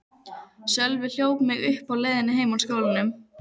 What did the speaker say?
Sölvi hljóp mig uppi á leiðinni heim úr skólanum.